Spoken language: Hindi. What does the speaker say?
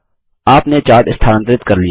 आपने चार्ट स्थानांतरित कर लिया